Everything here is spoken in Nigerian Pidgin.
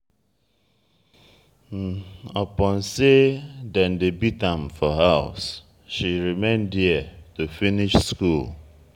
upon sey dem dey beat am for house she remain there to finish skool.